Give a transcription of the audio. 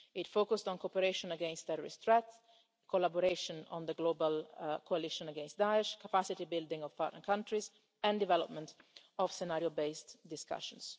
It focused on cooperation against terrorist threats, collaboration on the global coalition against Daesh, capacity building of partner countries and development of scenario-based discussions.